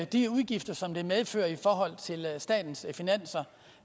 de udgifter som det medfører for statens finanser